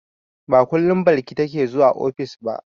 Ba kullum Balki take zuwa ofis ba.